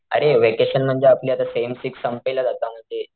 अरे व्हॅकेशन म्हणजे आपली आता सेम सिक्स संपेलच आता म्हणजे,